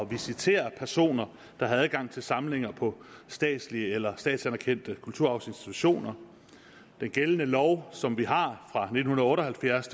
visitere personer der har adgang til samlinger på statslige eller statsanerkendte kulturarvsinstitutioner den gældende lov som vi har fra nitten otte og halvfjerds